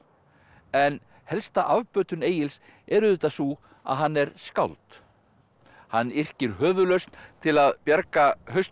en helsta afbötun Egils er auðvitað sú að hann er skáld hann yrkir höfuðlausn til að bjarga hausnum á